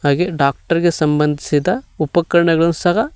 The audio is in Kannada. ಹಾಗೆ ಡಾಕ್ಟರ್ ಗೆ ಸಂಬಂಧಿಸಿದ ಉಪಕರಣಗಳು ಸಹ--